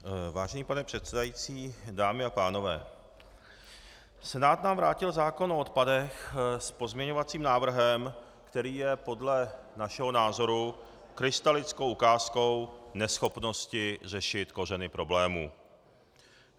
Vážený pane předsedající, dámy a pánové, Senát nám vrátil zákon o odpadech s pozměňovacím návrhem, který je podle našeho názoru krystalickou ukázkou neschopnosti řešit kořeny problémů.